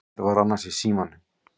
Hver var annars í símanum?